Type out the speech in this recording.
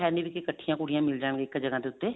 ਮਤਲਬ ਵੀ ਕੱਠੀਆਂ ਕੁੜੀਆਂ ਮਿਲ ਜਾਣ ਇੱਕ ਜਗ੍ਹਾ ਦੇ ਉੱਤੇ